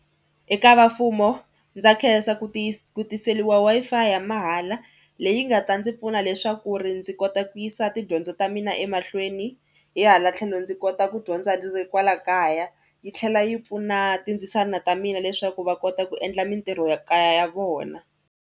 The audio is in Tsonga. Eka vamfumo ndza khensa ku ku tiseriwa Wi-Fi ya mahala leyi nga ta ndzi pfuna leswaku ri ndzi kota ku yisa tidyondzo ta mina emahlweni hi hala tlhelo ndzi kota ku dyondza ndzi ri kwala kaya yi tlhela yi pfuna tindzisana ta mina leswaku va kota ku endla mitirhokaya ya vona.